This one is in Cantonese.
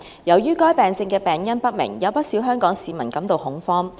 由於該病症的病因不明，有不少香港市民感到恐慌。